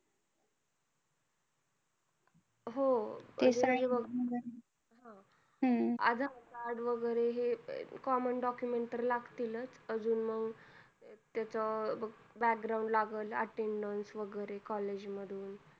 हो. तेच म्हणजे बघ अजून Aadhar card वगैरे common documents तर लागतील चं. अजून मंग त्याच बघ background लागलं attendance वगैरे college मधलं.